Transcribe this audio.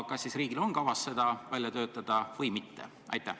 Kas siis riigil on kavas see välja töötada või mitte?